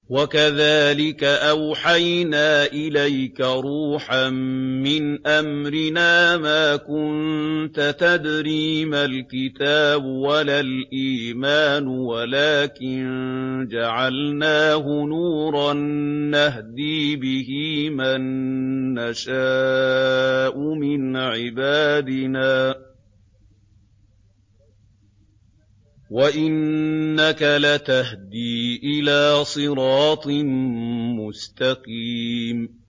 وَكَذَٰلِكَ أَوْحَيْنَا إِلَيْكَ رُوحًا مِّنْ أَمْرِنَا ۚ مَا كُنتَ تَدْرِي مَا الْكِتَابُ وَلَا الْإِيمَانُ وَلَٰكِن جَعَلْنَاهُ نُورًا نَّهْدِي بِهِ مَن نَّشَاءُ مِنْ عِبَادِنَا ۚ وَإِنَّكَ لَتَهْدِي إِلَىٰ صِرَاطٍ مُّسْتَقِيمٍ